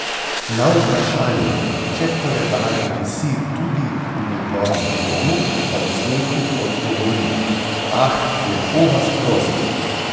Na vprašanje, če koledar visi tudi v njegovem domu, pa v smehu odgovori: 'Ah, lepo vas prosim!